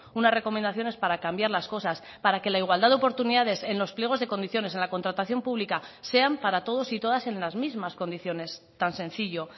unas recomendaciones para cambiar las cosas para que la igualdad de oportunidades en los pliegos de condiciones en la contratación pública sean para todos y todas en las mismas condiciones tan sencillo